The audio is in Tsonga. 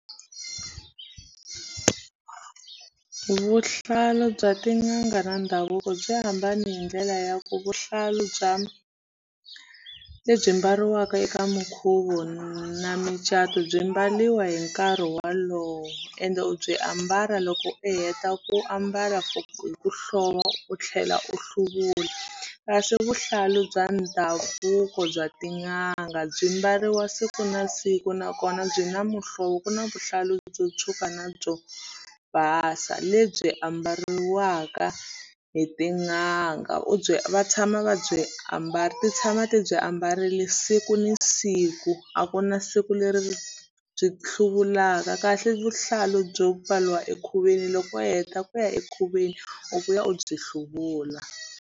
Vuhlalu bya tin'anga na ndhavuko byi hambane hi ndlela ya ku vuhlalu bya lebyi mbariwaka eka minkhuvo na micato byi mbariwa hi nkarhi wolowo ende u byi ambala loko i heta ku ambala for hi u tlhela u hluvula kasi vuhlalu bya ndhavuko bya tin'anga byi mbariwa siku na siku nakona byi na muhlovo ku na vuhlalu byo tshuka na byo basa lebyi ambariwaka hi tin'anga u byi va tshama va byi ambala ti tshama ti byi ambarile siku ni siku a ku na siku leri byi hluvulaka kahle vuhlalu byo pfariwa ekhubyeni loko i heta ku ya ekhubyeni u vuya u byi hluvula.